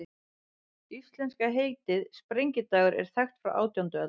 Íslenska heitið, sprengidagur, er þekkt frá átjándu öld.